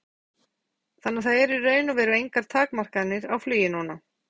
Þorbjörn Þórðarson: Þannig að það eru í raun og veru engar takmarkanir á flugi núna?